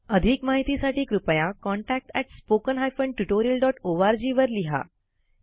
अधिक माहितीसाठी कृपया contactspoken tutorialorg वर लिहा